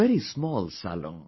A very small salon